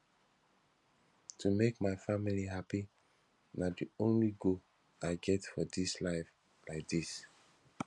to make my family happy na the only goal i get for dis life like dis